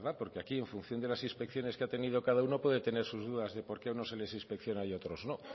porque aquí en función de las inspecciones que ha tenido cada uno puede tener sus dudas de por qué a unos se les inspecciona y a otros no